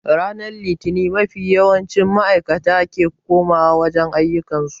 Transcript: Ranar litini mafi yawancin maaikata ke koma wa wajen ayyukan su